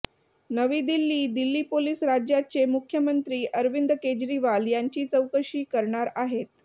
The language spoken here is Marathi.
नवी दिल्ली दिल्ली पोलीस राज्याचे मुख्यमंत्री अरविंद केजरीवाल यांची चौकशी करणार आहेत